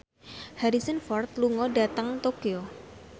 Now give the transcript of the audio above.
Harrison Ford lunga dhateng Tokyo